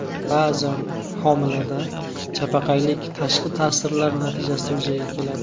Ba’zan homilada chapaqaylik tashqi ta’sirlar natijasida yuzaga keladi.